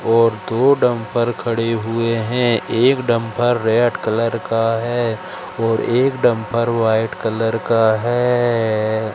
और दो डंपर खड़े हुए हैं। एक डंपर रेड कलर का है और एक डंपर व्हाईट कलर का है।